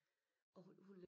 Og hun hun